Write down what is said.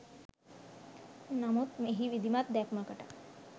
නමුත් එහි විධිමත් දැක්මකට